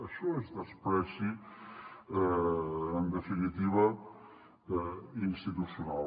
això és menyspreu en definitiva institucional